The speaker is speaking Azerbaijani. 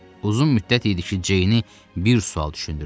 Uzun müddət idi ki, Ceyni bir sual düşündürürdü.